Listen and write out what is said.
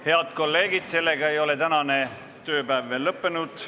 Head kolleegid, tänane tööpäev ei ole veel lõppenud.